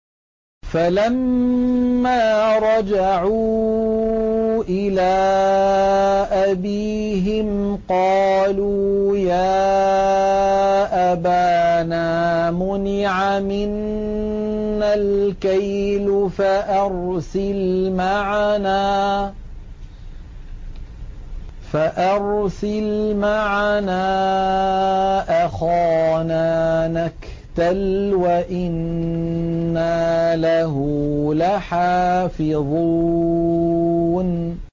فَلَمَّا رَجَعُوا إِلَىٰ أَبِيهِمْ قَالُوا يَا أَبَانَا مُنِعَ مِنَّا الْكَيْلُ فَأَرْسِلْ مَعَنَا أَخَانَا نَكْتَلْ وَإِنَّا لَهُ لَحَافِظُونَ